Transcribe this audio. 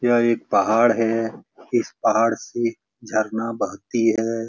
यह एक पहाड़ है इस पहाड़ से झरना बहती है।